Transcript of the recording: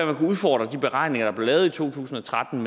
man kan udfordre de beregninger der blev lavet i to tusind og tretten